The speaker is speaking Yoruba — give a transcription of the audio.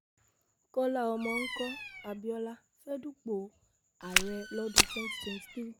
kọ́lá ọmọ mko abiola fẹ́ẹ́ dúpọ̀ ààrẹ lọ́dún twenty twenty thre